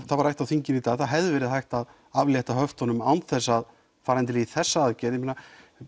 það var rætt á þinginu í dag að það hefði verið hægt að létta á höftunum án þess að fara í þessa aðgerð ég meina